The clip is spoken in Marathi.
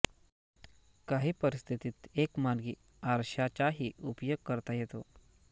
काही परिस्थितीत एक मार्गी आरशाचाही उपयोग करता येतो